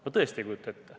Ma tõesti ei kujuta seda ette.